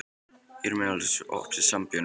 Irmelín, er opið í Sambíóunum?